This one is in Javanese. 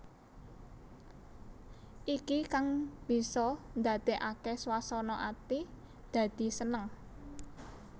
Iki kang bisa ndadèkaké swasana ati dadi seneng